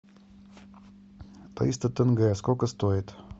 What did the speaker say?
триста тенге сколько стоит